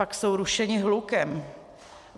Pak jsou rušeni hlukem.